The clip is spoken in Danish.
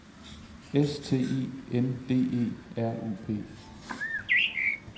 S T E N D E R U P